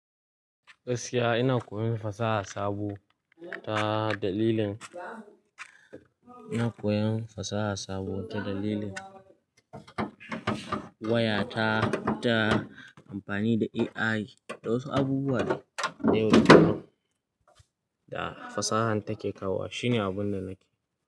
Gaskiya ina koyon fasaha sabo ta dalilin, ina koyon fasaha sabo ta dalilin waya ta, ta amfani da AI da wasu abubuwa da yau da kullum da fasahan take kawo. Shine abun da nake.